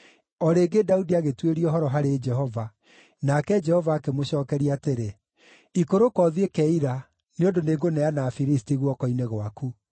O rĩngĩ Daudi agĩtuĩria ũhoro harĩ Jehova, nake Jehova akĩmũcookeria atĩrĩ, “Ikũrũka ũthiĩ Keila, nĩ ũndũ nĩngũneana Afilisti guoko-inĩ gwaku.”